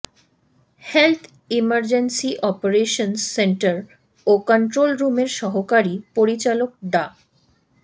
health emergency operations centre ও কন্ট্রোলরুমের সহকারী পরিচালক ডা